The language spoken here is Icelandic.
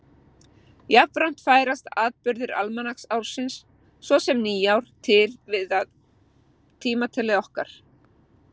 Jafnframt færast atburðir almanaksársins, svo sem nýár, til miðað við tímatal okkar.